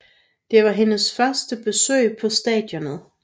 Det var hendes første besøg på stadionet